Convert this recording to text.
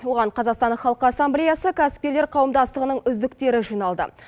оған қазақстан халық ассамблеясы кәсіпкерлер қауымдастығының үздіктері жиналды